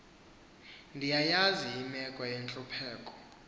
ndiyayazi imeko yentlupheko